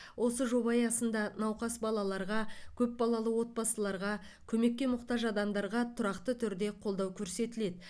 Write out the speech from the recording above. осы жоба аясында науқас балаларға көп балалы отбасыларға көмекке мұқтаж адамдарға тұрақты түрде қолдау көрсетіледі